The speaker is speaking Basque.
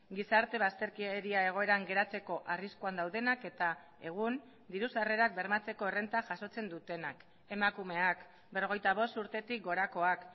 gizarte bazterkeria egoeran geratzeko arriskuan daudenak eta egun diru sarrerak bermatzeko errenta jasotzen dutenak emakumeak berrogeita bost urtetik gorakoak